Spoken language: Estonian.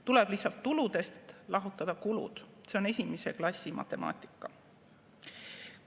Tuleb lihtsalt tuludest lahutada kulud, see on esimese klassi matemaatika.